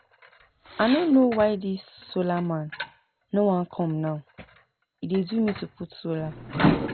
I no know why dis solar man no wan come now e dey do me to put solar